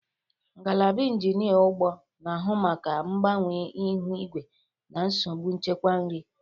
Ngalaba Injinia ugbo na-ahụ maka mgbanwe ihu igwe na nsogbu nchekwa nri.